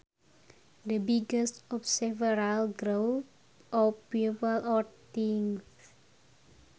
The biggest of several groups of people or things